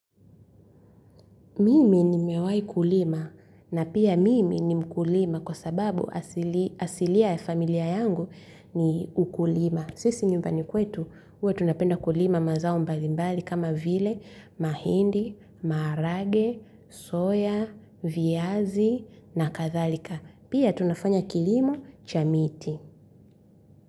Mimi nimewai kulima na pia mimi ni mkulima kwa sababu asilia ya familia yangu ni ukulima. Sisi nyumbani kwetu huwa tunapenda kulima mazao mbalimbali kama vile mahindi, marage, soya, viazi na kathalika. Pia tunafanya kilimo cha miti.